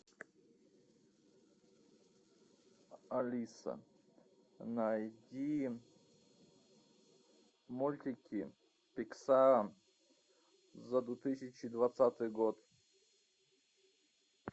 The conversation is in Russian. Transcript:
алиса найди мультики пиксар за две тысячи двадцатый год